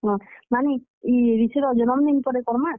ହଁ, ନାନୀ, ଇ ରିଶୀର ଜନମ୍ ଦିନ୍ ପରେ କର୍ ମା?